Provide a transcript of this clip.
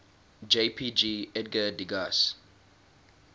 jpg edgar degas